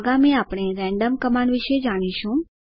આગામી આપણે random command વિશે જાણીશું